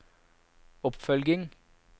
oppfølging